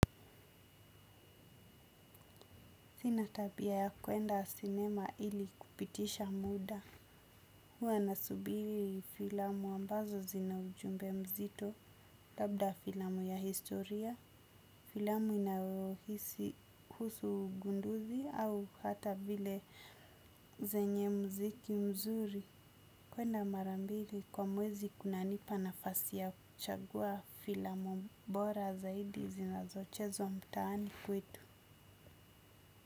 Sina tabia ya kuenda sinema ili kupitisha muda. Huwa nasubiri filamu ambazo zina ujumbe mzito. Labda filamu ya historia, filamu inayohisi husu ugunduzi au hata vile zenye mziki mzuri. Kuenda mara mbili kwa mwezi kunanipa nafasi ya kuchagua filamu mbora zaidi zinazochezwa mtaani kwetu.